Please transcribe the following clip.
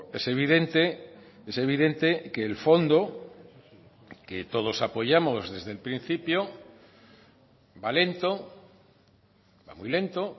es evidente es evidente que el fondo que todos apoyamos desde el principio va lento va muy lento